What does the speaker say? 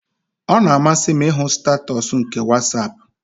Ọ na-amasị m ịhụ statuus nke WhatsApp